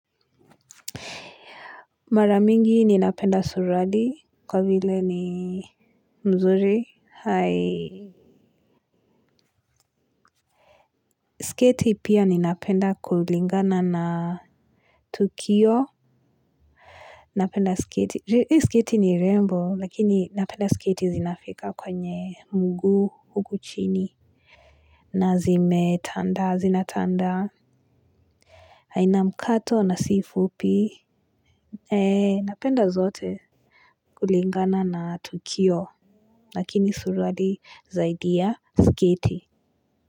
Maramingi ninapenda suruali kwa vile ni nzuri hai sketi pia ninapenda kulingana na tukio. Napenda sketi hii sketi ni rembo lakini napenda sketi zinafika kwenye mguu huku chini. Nazime tandaa, zina tandaa. Hai na mkato na sifupi. Eee napenda zote. Kulingana na tukio lakini surali zaidi ya sketi.